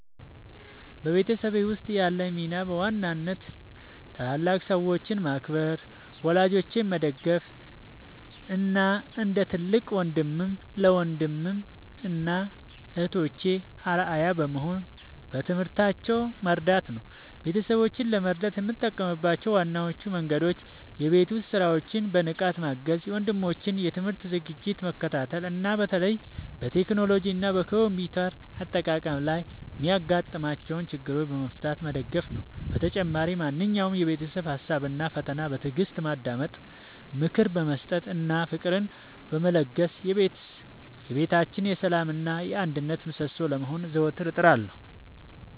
በቤተሰቤ ውስጥ ያለኝ ሚና በዋናነት ታላላቅ ሰዎችን ማክበር፣ ወላጆቼን መደገፍ እና እንደ ትልቅ ወንድም ለወንድም እና እህቶቼ አርአያ በመሆን በትምህርታቸው መርዳት ነው። ቤተሰቦቼን ለመርዳት የምጠቀምባቸው ዋነኞቹ መንገዶች የቤት ውስጥ ሥራዎችን በንቃት ማገዝ፣ የወንድሞቼን የትምህርት ዝግጅት መከታተል እና በተለይም በቴክኖሎጂ እና በኮምፒውተር አጠቃቀም ላይ የሚያጋጥሟቸውን ችግሮች በመፍታት መደገፍ ነው። በተጨማሪም ማንኛውንም የቤተሰብ ሀሳብ እና ፈተና በትዕግስት በማዳመጥ፣ ምክር በመስጠት እና ፍቅርን በመለገስ የቤታችን የሰላም እና የአንድነት ምሰሶ ለመሆን ዘወትር እጥራለሁ።